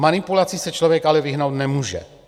Manipulaci se člověk ale vyhnout nemůže.